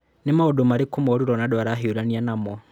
Nĩ maũndũ marĩkũ moru Ronaldo arahiũrania namo?